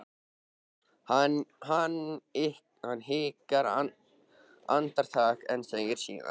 Hann hikar andartak en segir síðan